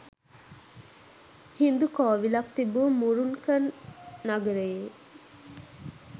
හින්දු කෝවිලක් තිබූ මුරුන්කන් නගරයේ